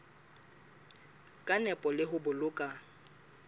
ka nepo le ho boloka